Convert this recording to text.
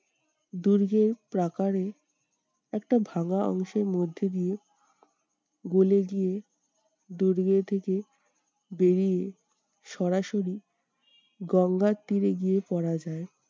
দুর্গের প্রাকারে একটা ভাঙা অংশের মধ্যে দিয়ে গলি দিয়ে দুর্গ থেকে বেরিয়ে সরাসরি গঙ্গার তীরে গিয়ে পড়া যায়।